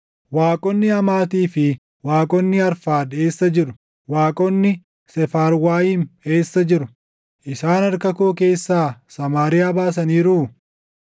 Waaqonni Hamaatii fi waaqonni Arfaad eessa jiru? Waaqonni Seefarwaayim eessa jiru? Isaan harka koo keessaa Samaariyaa baasaniiruu?